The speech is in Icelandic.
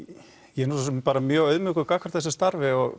ég er svo sem bara mjög auðmjúkur gagnvart þessu starfi og